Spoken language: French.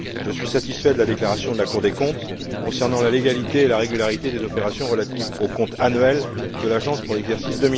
Je suis satisfait de la déclaration de la Cour des comptes concernant la légalité et la régularité des opérations relatives aux comptes annuels de l'Agence pour l'exercice